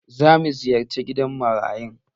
Za mu ziyarce gidan marayun?